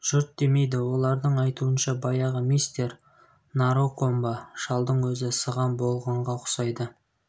жұрт демейді олардың айтуынша баяғы мистер наракомбо шалдың өзі сыған болғанға ұқсайды